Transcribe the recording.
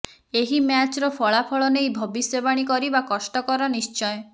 ଏହି ମ୍ୟାଚ୍ର ଫଳାଫଳ ନେଇ ଭବିଷ୍ୟବାଣୀ କରିବା କଷ୍ଟକର ନିଶ୍ଚୟ